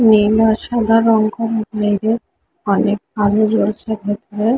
নীল আর সাদা রং করা ।